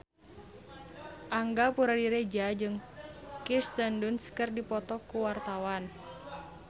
Angga Puradiredja jeung Kirsten Dunst keur dipoto ku wartawan